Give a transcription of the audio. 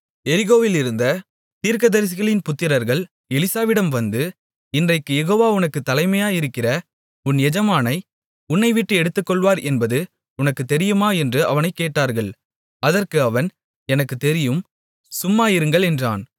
எரிகோவிலிருந்த தீர்க்கதரிசிகளின் புத்திரர்கள் எலிசாவிடம் வந்து இன்றைக்குக் யெகோவா உனக்குத் தலைமையாயிருக்கிற உன் எஜமானை உன்னைவிட்டு எடுத்துக்கொள்வார் என்பது உனக்குத் தெரியுமா என்று அவனைக் கேட்டார்கள் அதற்கு அவன் எனக்குத் தெரியும் சும்மா இருங்கள் என்றான்